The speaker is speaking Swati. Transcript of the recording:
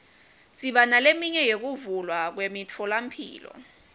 siba neleminye yekuvulwa kwemitfolamphilo